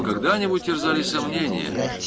когда-нибудь терзали сомнения